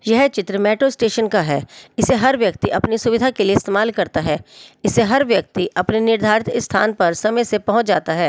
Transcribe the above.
यह चित्र metro station का है इसे हर व्यक्ति अपनी सुविधा के लिए इस्तेमाल करता है इसे हर व्यक्ति अपने निर्धारित स्थान पर समय से पहुंच जाता है।